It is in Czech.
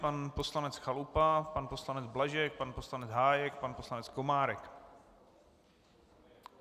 Pan poslanec Chalupa, pan poslanec Blažek, pan poslanec Hájek, pan poslanec Komárek.